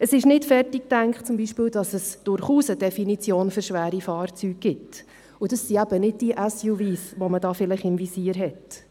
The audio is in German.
Es ist beispielsweise nicht zu Ende gedacht, dass es durchaus eine Definition für schwere Fahrzeuge gibt, und das sind eben nicht die Sport Utility Vehicles (SUV), die man da vielleicht im Visier hat.